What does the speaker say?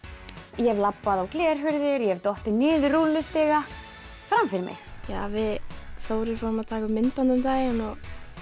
ég hef labbað á glerhurðir ég hef dottið niður rúllustiga fram fyrir mig við Þórir vorum að taka upp myndband um daginn og